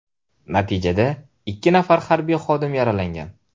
Natijada ikki nafar harbiy xodim yaralangan.